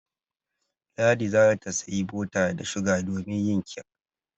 Ladi za ta sayi bota da shuga domin yin kek.